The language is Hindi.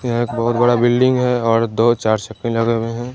यह एक बहुत बड़ा बिल्डिंग है और दो चार भी लगे हुए हैं।